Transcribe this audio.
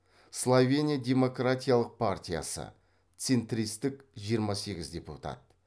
словения демократиялық партиясы центристік жиырма сегіз депутат